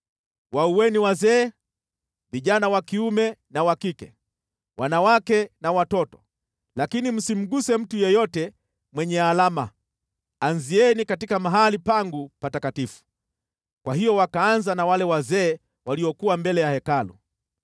Waueni wazee, vijana wa kiume na wa kike, wanawake na watoto, lakini msimguse mtu yeyote mwenye alama. Anzieni katika mahali pangu patakatifu.” Kwa hiyo wakaanza na wale wazee waliokuwa mbele ya Hekalu.